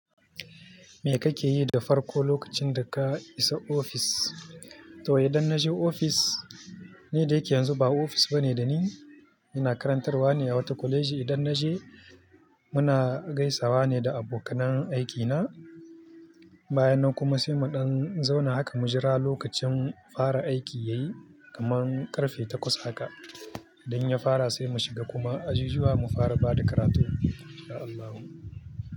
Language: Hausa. Me kake yi da farko lokacin da ka isa ofis? To idan na je ofis, ni da yake yanzu ba ofis bane da ni. Ina karantarwa ne a wata kwaleji. Idan na je, muna gaisawa ne da abokanan aiki na. Bayan nan kuma sai mu ɗan zauna haka, mu jira lokacin fara aiki yayi, kaman ƙarfe takwas haka. Idan ya fara sai mu shiga kuma ajujuwa mu fara ba da karatu. Insha Allahu.